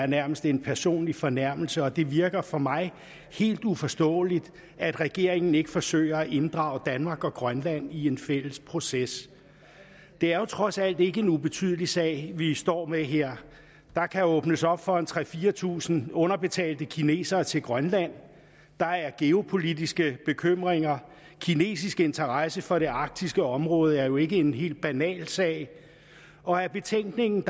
nærmest er en personlig fornærmelse og det virker for mig helt uforståeligt at regeringen ikke forsøger at inddrage danmark og grønland i en fælles proces det er jo trods alt ikke en ubetydelig sag vi står med her der kan åbnes op for at tre tusind fire tusind underbetalte kinesere kommer til grønland der er geopolitiske bekymringer kinesisk interesse for det arktiske område er jo ikke en helt banal sag og af betænkningen